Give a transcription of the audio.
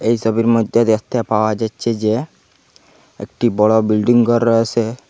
এই সবির মইদ্যে দ্যাখতে পাওয়া যাচ্ছে যে একটি বড় বিল্ডিং ঘর রয়েসে।